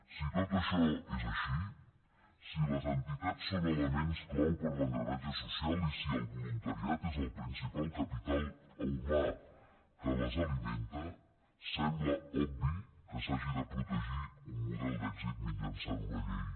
si tot això és així si les entitats són elements clau per a l’engranatge social i si el voluntariat és el principal capital humà que les alimenta sembla obvi que s’hagi de protegir un model d’èxit mitjançant una llei